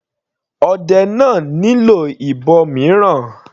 Ọdẹ náà nílò ìbọn mìíràn.